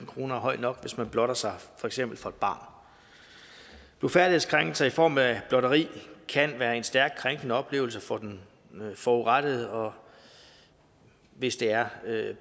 kroner er høj nok hvis man blotter sig for eksempel for et barn blufærdighedskrænkelser i form af blotteri kan være en stærkt krænkende oplevelse for den forurettede og hvis det er